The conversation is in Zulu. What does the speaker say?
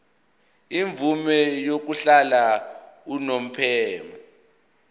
imvume yokuhlala unomphema